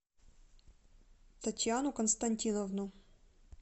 татьяну константиновну